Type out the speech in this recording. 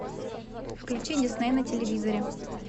включи дисней на телевизоре